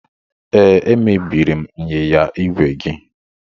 Ee, emebiri m ịnyịnya ígwè gị.